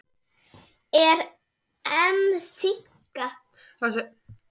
Er EM þynnka?